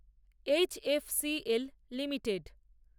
H. F. C. L limited